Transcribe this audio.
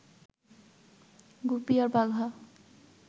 গুপি আর বাঘা